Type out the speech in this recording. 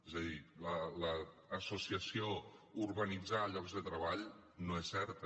és a dir l’associació urbanitzar llocs de treball no és certa